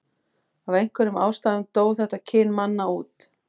af einhverjum ástæðum dó þetta kyn manna út